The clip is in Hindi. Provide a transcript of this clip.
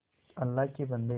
अल्लाह के बन्दे